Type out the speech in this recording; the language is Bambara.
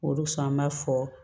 Olu sɔn an b'a fɔ